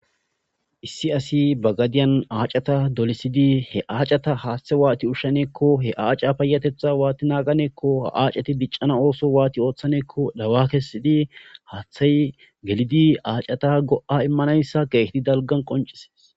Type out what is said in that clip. issi asi bagadiyan aacata dolisidi he aacata haaththe waati ushshaneekko he aaca payatetha waati naaganeekko ha7aaceti biccana ooso waati ooththaneekko dawa kessidi haaththay gelidi aacata go7a immanayssa geehti dalgan qoncises